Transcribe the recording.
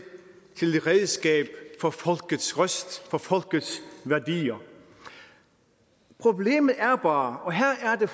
redskab for folkets røst for folkets værdier problemet er bare og her er det